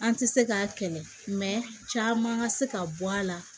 An ti se k'a kɛlɛ caman ka se ka bɔ a la